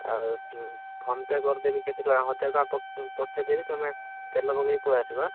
ଆଉ ଉଁ, PhonePe କରିଦେବି କେତେ ଟଙ୍କା ହଜାରେ ଟଙ୍କା ପଠେଇଦେବି ତମେ, ତେଲ ପକେଇ ପଳେଇ ଆସିବ ଆଁ।